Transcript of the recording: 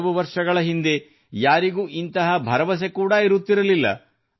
ಕೆಲವು ವರ್ಷಗಳ ಹಿಂದೆ ಯಾರಿಗೂ ಇಂತಹ ಭರವಸೆ ಕೂಡಾ ಇರುತ್ತಿರಲಿಲ್ಲ